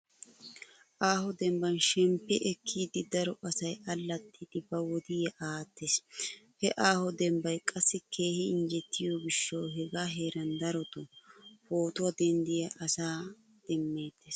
Aaho dembban shemppi ekkiiddi daro asay allaxxiiddi ba wodiya aattees. He aaho dembbay qassi keehi injjetiyo gishshawu hegaa heeran darotoo pootuwa denddiya asaa demmeettees.